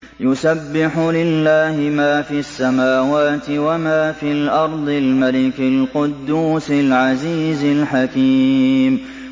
يُسَبِّحُ لِلَّهِ مَا فِي السَّمَاوَاتِ وَمَا فِي الْأَرْضِ الْمَلِكِ الْقُدُّوسِ الْعَزِيزِ الْحَكِيمِ